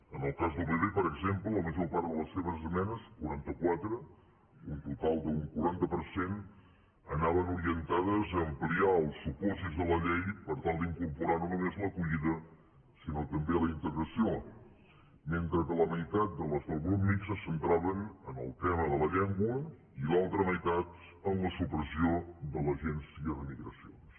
en el cas del pp per exemple la major part de les seves esmenes quaranta quatre un total d’un quaranta per cent anaven orientades a ampliar els supòsits de la llei per tal d’incorporar no només l’acollida sinó també la integració mentre que la meitat de les del grup mixt es centraven en el tema de la llengua i l’altra meitat en la supressió de l’agència de migracions